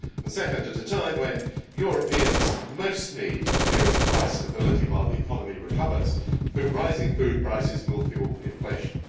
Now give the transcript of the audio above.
Second, at a time when Europeans most need a period of price stability while the economy recovers, rising food prices will fuel inflation.